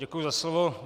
Děkuji za slovo.